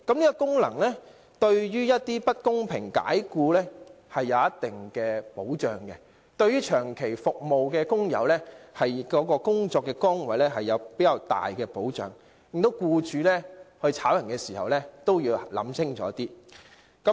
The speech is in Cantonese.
這個規定對於某些遭不公平解僱的工友來說有一定保障，對於長期為同一僱主服務的工友也有較大的保障，令僱主在解僱員工時也要考慮清楚。